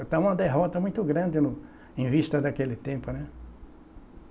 Está uma derrota muito grande no em vista daquele tempo, né.